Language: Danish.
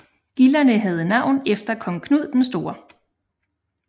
Gilderne havde navn efter kong Knud den Store